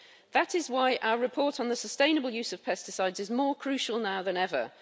That is why our report on the sustainable use of pesticides is more crucial now than ever.